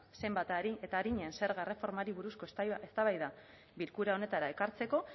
zenbat arin eta arinen zerga erreformari buruzko eztabaida bilkura honetara ekartzeko